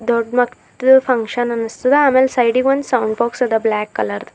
ದೊಡ್ಡ ಮಕ್ಕಳು ಫಂಕ್ಷನ್ ಅನ್ನಿಸ್ತದ ಆಮೇಲೆ ಸೈಡಿ ಗ್ ಒಂದ್ ಸೌಂಡ್ ಬಾಕ್ಸ್ ಅದ ಬ್ಲಾಕ್ ಕಲರ್ ದು.